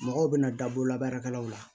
Mɔgɔw bɛna daburu labaaraw la